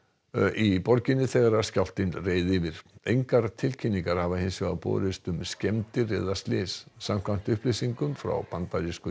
í borginni þegar skjálftinn reið yfir engar tilkynningar hafa hins vegar borist um skemmdir eða slys samkvæmt upplýsingum frá bandarísku